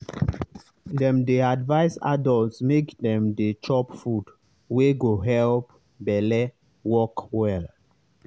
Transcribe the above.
dem dey advise adults make dem dey chop food wey go help belle work well.